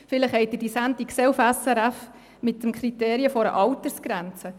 vielleicht haben Sie die Sendung im Schweizer Radio und Fernsehen (SRF) gesehen.